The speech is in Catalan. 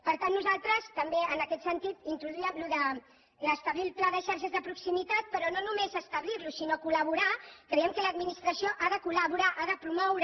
per tant nosaltres també en aquest sentit introduíem això d’establir el pla de xarxes de proximitat però no només establir lo sinó col·laborar hi creiem que l’administració hi ha de col·laborar l’ha de promoure